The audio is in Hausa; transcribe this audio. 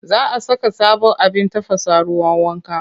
Za a saka sabon abin tafasa ruwan wanka.